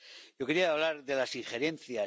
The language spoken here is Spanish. Yo quería hablar de las injerencias.